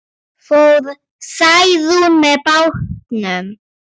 Fór Særún með bátnum.